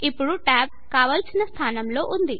ఇప్పుడు టాబ్ కావలసిన స్థానంలో ఉంది